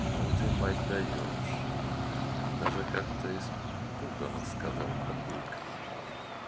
ну ты мать даёшь даже как-то испуганно сказал папулька